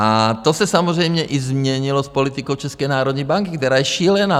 A to se samozřejmě i změnilo s politikou České národní banky, která je šílená.